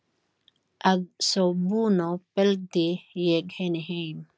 Að svo búnu fylgdi ég henni heim.